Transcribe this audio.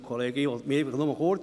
Ich halte mich kurz.